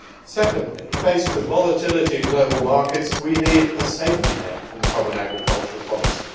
Secondly, faced with volatility in global markets, we need a safety net from the common agricultural policy.